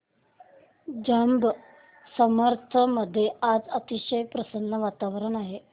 जांब समर्थ मध्ये आज अतिशय प्रसन्न वातावरण आहे